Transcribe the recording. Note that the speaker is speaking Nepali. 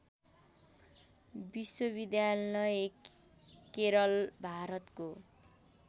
विश्वविद्यालय केरल भारतको